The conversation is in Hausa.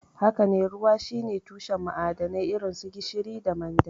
Haka ne, ruwa shine tushen ma'adanai irin su gishiri da manda.